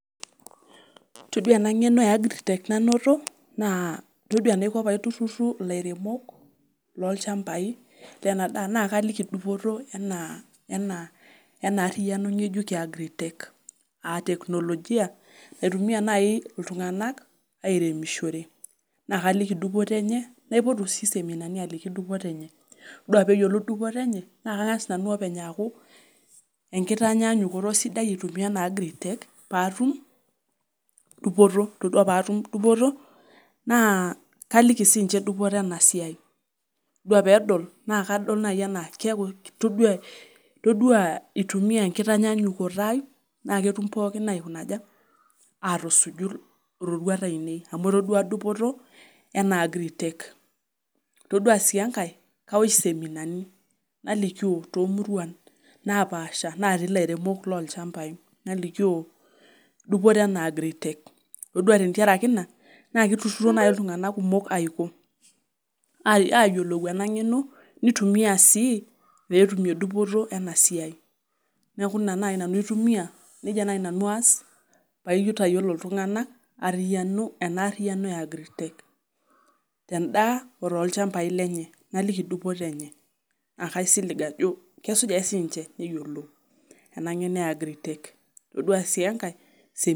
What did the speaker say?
Todua eena ng'eno e agritech nanoto, naa toduaa enaiko pee aitururu ilairemok lolchambai lena daa naa kaliki dupoto eena ariyiano ng'ejuk ee agritech aah teknolijia, naitumia nai iltung'anak airemishore. Naa kaliki dupoto eenye, naipotu sii seminani aliki dupoto eenye. Toduaa pee eyiolou dupoto eenye naa kang'as nanu openy aku ekitanyanyukoto sidai aitumia eena agritech, paatum dupoto. Toduaa peyie atum dupoto, naa kaliki sininche dupoto eena siai. Todua pee edol naa kadol naaji enaa peyie eitumia enkitanyanyukoto ai naa ketum pooki atusuju iroruat ainei amuu etoduaa dupoto eena agritech. Toduaa sii enkae kaosh iseminani, nalikio tomuruan napaasha natii ilairemok lolchambai. Nalikio dupoto eena agritech. Toduaa tentiaraki iina naa keitururo naaji iltung'anak kumok ayiolou eena ng'eno, neitumia sii pee etumie dupoto eena siai. Niaku iina naji nanu aitumia, iina naaji nanu aas, pee aitayiolo iltung'anak eena ariyianio ee agritech ten'daa otolchambai lenye naliki dupote eenye. Naa kaisilig aajo kesuj aake sininche nayiolou ena ng'eno ee agritech toduaa sii enkae iseminani.